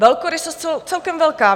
Velkorysost celkem velká.